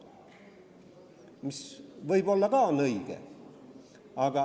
See võib ka olla õige.